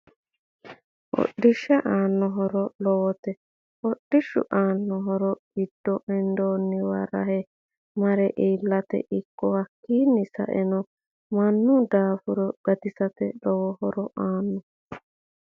Hodhishi aano horo lowote hodhishu aani horo giddo hendooniwa rahe mare ilate ikko hakiini saeno mannu daafuro gatisate lowo horo aano